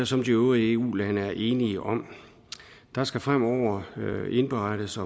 som de øvrige eu lande er enige om der skal fremover indberettes